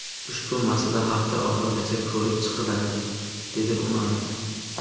Ushbu masala hafta oxirigacha ko‘rib chiqiladi”, dedi Umarov.